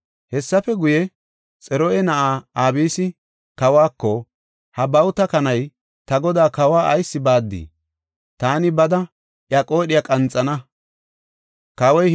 Hessafe guye, Xaruya na7ay Abisi, Kawako, “Ha bawuta kanay, ta godaa kawa ayis baaddii? Taani bada iya qoodhiya qanxana” yaagis.